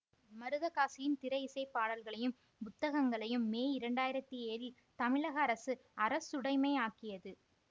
மருதகாசியின் திரை இசை பாடல்களையும் புத்தகங்களையும் மே இரண்டு ஆயிரத்தி ஏழில் தமிழக அரசு அரசுடைமை ஆக்கியது